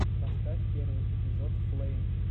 поставь первый эпизод флэйм